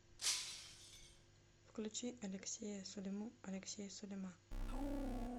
включи алексея сулиму алексея сулима